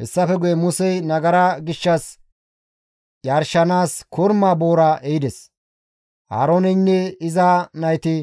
Hessafe guye Musey nagara gishshas yarshanaas korma boora ehides; Aarooneynne iza nayti